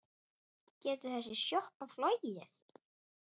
Getur þessi sjoppa flogið?